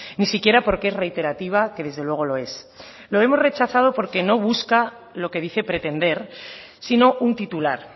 ni siquiera porque es reiterativa que desde luego lo es lo hemos rechazado porque no busca lo que dice pretender sino un titular